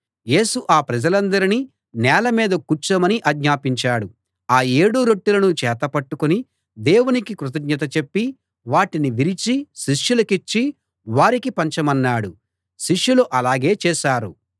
యేసు ఆ ప్రజలందరినీ నేల మీద కూర్చోమని ఆజ్ఞాపించాడు ఆ ఏడు రొట్టెలను చేతపట్టుకుని దేవునికి కృతజ్ఞత చెప్పి వాటిని విరిచి శిష్యులకిచ్చి వారికి పంచమన్నాడు శిష్యులు అలాగే చేశారు